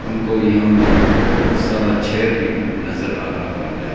हमको यहां में बहोत सारा चेयर भी नजर आ रहा है।